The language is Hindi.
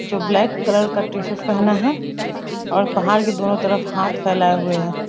जो ब्लैक कलर का टी-शर्ट पहना है और पहाड़ के दोनों तरफ हाथ फैलाए हुए है।